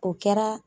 O kɛra